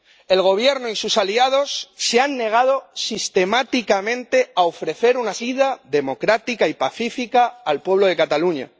El Gobierno y sus aliados se han negado sistemáticamente a ofrecer una salida democrática y pacífica al pueblo de Cataluña.